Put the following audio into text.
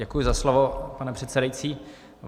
Děkuji za slovo, pane předsedající.